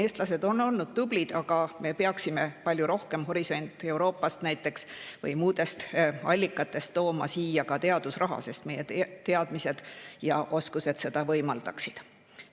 Eestlased on olnud tublid, aga me peaksime näiteks "Euroopa horisondist" või muudest allikatest tooma siia palju rohkem teadusraha, sest meie teadmised ja oskused võimaldaksid seda.